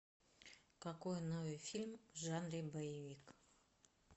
какой новый фильм в жанре боевик